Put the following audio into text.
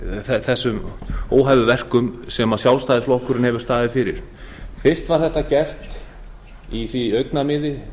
úr þessum óhæfuverkum sem sjálfstæðisflokkurinn hefur staðið fyrir fyrst var þessi fiskveiðistjórn gerð í því augnamiði